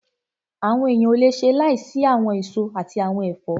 Àwọn èèyàn ò le ṣe láìsí àwọn èso àti àwọn ẹ̀fọ́